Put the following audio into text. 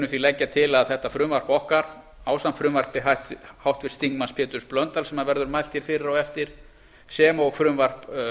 því leggja til að þetta frumvarp okkar ásamt frumvarpi háttvirtur þingmaður péturs blöndals sem verður mælt fyrir á eftir sem og frumvarp